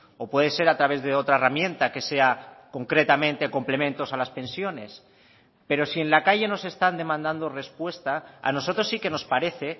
o puede ser a través de otra herramienta que sea concretamente complementos a las pensiones pero si en la calle nos están demandando respuesta a nosotros sí que nos parece